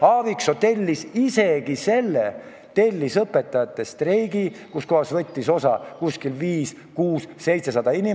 Aaviksoo tellis isegi õpetajate streigi, millest võttis osa umbes 500–600 või 700 inimest.